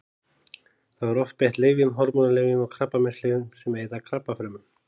Þá er oft beitt lyfjum: hormónalyfjum og krabbameinslyfjum sem eyða krabbafrumum.